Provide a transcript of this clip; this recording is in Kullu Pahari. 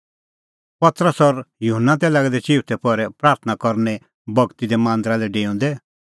पतरस और युहन्ना तै लागै दै चिऊथै पहरै प्राथणां करने बगती दै मांदरा लै डेऊंदै